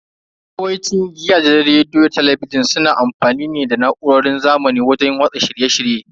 Yawanci gidajen rediyo da talabijin suna amfani ne da na'urar zamani wajen watsa shirye shirye.